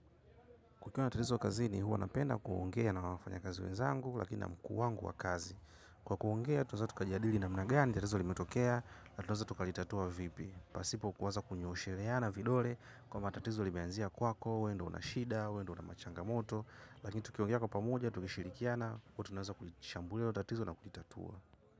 Kukiwa na tatizo kazini huwa napenda kuongea na wafanyakazi wenzangu, lakini na mkuu wangu wa kazi. Kwa kuongea, tunaweza tukajadili namna gani, tatizo limetokea, na tunaweza tukalitatua vipi. Pasipo kuweza kunyoosheleana vidole, kwa matatizo limenzia kwako, we ndio una shida, we ndio una machangamoto, lakini tukiongea kwa pamoja, tukishirikiana, huwa tunaweza kulishambulia hilo tatizo na kulitatua.